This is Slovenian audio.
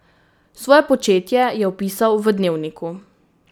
Svoje početje je opisal v dnevniku.